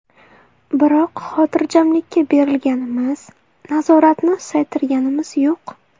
Biroq xotirjamlikka berilganimiz, nazoratni susaytirganimiz yo‘q.